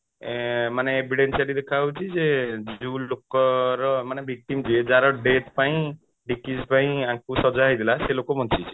ଆଁ ମାନେ evident ସେଠି ଦେଖା ହଉଛି ଯେ ଯୋଉ ଲୋକର ମାନେ victim ଯିଏ ଯାର death ପାଇଁ ପାଇଁ ୟାଙ୍କୁ ସଜା ହେଇଥିଲା ସେ ଲୋକ ବଞ୍ଚିଛି